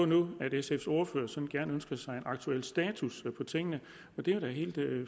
nu at sfs ordfører sådan gerne ønsker sig en aktuel status på tingene og det er jo helt